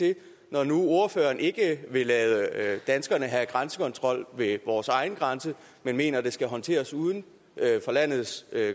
når nu ordføreren ikke vil lade danskerne have grænsekontrol ved vores egne grænser men mener at det skal håndteres uden for landets